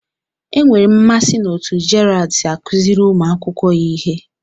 Enwere m mmasị n'otú Gerald si akụziri ụmụ akwụkwọ ya ihe